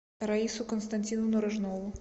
раису константиновну рожнову